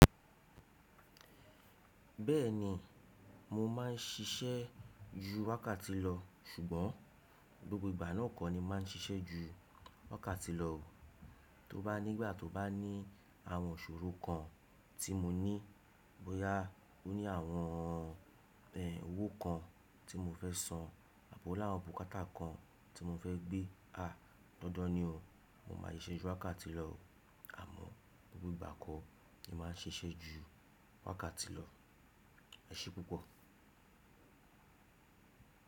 Bẹ́ẹ̀ni, mo máa ń ṣiṣẹ́ ju wákàtì lọ ṣùgbọ́n gbogbo ìgbà náà kọ́ ni máa ń ṣiṣẹ́ ju wákàtì lọ o. Tó bá nígbà tó bá ní àwọn ìṣòro kan tí mo ní, bóyá ó ní àwọn ẹ owó kan tí mo fẹ́ san, àbi ó ni awon bukáta kan tí mo fẹ́ gbé, àá dandan ni ó, mo máa ṣe iṣẹ́ ju wákàtì lọ. Àmọ́ gbogbo ìgbà kọ́ ni máa ń ṣiṣẹ́ ju wákàtì lọ. Ẹ̀ṣe púpọ̀.